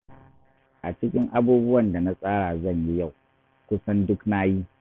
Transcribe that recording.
A cikin abubuwan da na tsara zan yi yau, kusan duk na yi